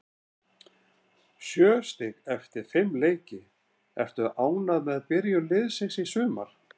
Sjö stig eftir fimm leiki, ertu ánægður með byrjun liðsins í sumar?